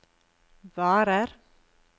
varer